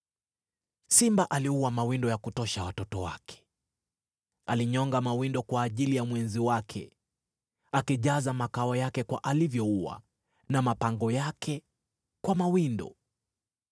Simba aliua mawindo ya kutosha watoto wake, alinyonga mawindo kwa ajili ya mwenzi wake, akijaza makao yake kwa alivyoua na mapango yake kwa mawindo.